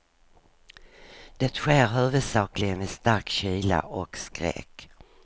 Det sker huvudsakligen vid stark kyla och skräck.